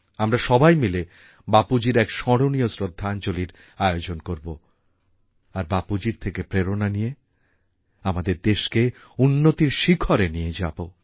আমরা সবাই মিলে বাপুজীর এক স্মরণীয় শ্রদ্ধাঞ্জলীর আয়োজন করব আর বাপুজীর থেকে প্রেরণা নিয়ে আমাদের দেশকে উন্নতির শিখরে নিয়ে যাব